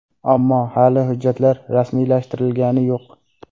Ammo hali hujjatlar rasmiylashtirilgani yo‘q.